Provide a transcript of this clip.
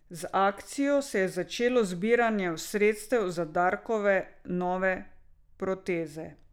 Z akcijo se je začelo zbiranje sredstev za Darkove nove proteze.